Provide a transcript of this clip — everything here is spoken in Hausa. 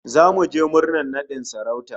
Zamu je murnar nadin sarauta